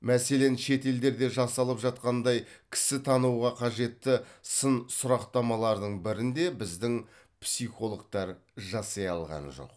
мәселен шет елдерде жасалып жатқандай кісітануға қажетті сын сұрақтамалардың бірін де біздің психологтар жасай алған жоқ